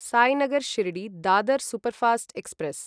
Sainagar Shirdi Dadar superfast express